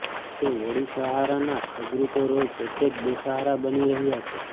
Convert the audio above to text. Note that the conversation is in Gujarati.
તો વળી સહારાના સુબ્રતો રોય પોતે જ બેસહારા બની રહ્યા છે